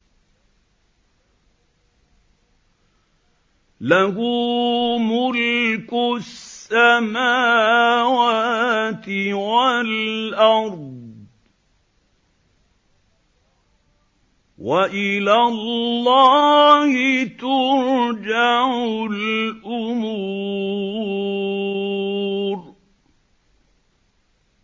لَّهُ مُلْكُ السَّمَاوَاتِ وَالْأَرْضِ ۚ وَإِلَى اللَّهِ تُرْجَعُ الْأُمُورُ